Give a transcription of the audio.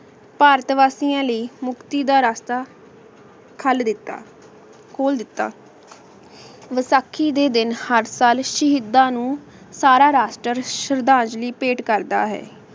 ਭਾਰਤ ਵਾਸਿਯਾਂ ਲੈ ਮੁਕਤੀ ਦਾ ਰਸਤਾ ਖਾਲ ਦਿਤਾ ਖੂਲ ਦਿਤਾ ਵਸਾਖੀ ਦੇ ਦਿਨ ਹਰ ਸਾਲ ਸ਼ਹੀਦਾਂ ਨੂ ਸਾਰਾ ਰਾਸ਼ਟਰ ਸ਼ਰਧਾਂਜਲੀ ਭੇਂਟ ਕਰਦਾ ਹੈ